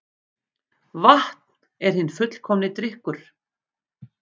Vatn er hinn fullkomni drykkur